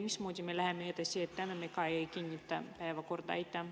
Mismoodi me edasi läheme, kui me täna ka ei kinnita päevakorda?